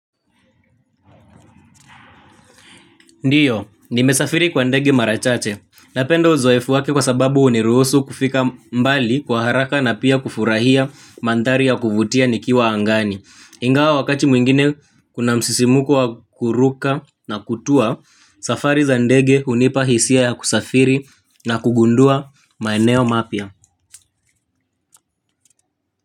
Ndio, nimesafiri kwa ndege mara chache. Napendo uzoefu wake kwa sababu huniruhusu kufika mbali kwa haraka na pia kufurahia mandhari ya kuvutia nikiwa angani. Ingawa wakati mwingine kuna msisimko wa kuruka na kutua, safari za ndege hunipa hisia ya kusafiri na kugundua maeneo mapya.